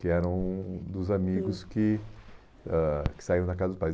que eram dos amigos que ãh que saíram da casa dos pais.